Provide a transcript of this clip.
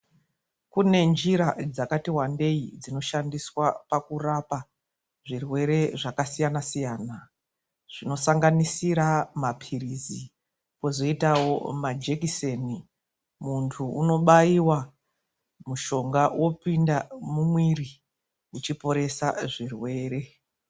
Kune njira dzakati wandei dzinoshandiswa pakurapa zvirwere zvakasiyana siyana. Zvinosanganisira maphirizi kozoitawo majekiseni. Muntu unobaiwa mushonga wopinda mumwiri uchiporesa zvirwere.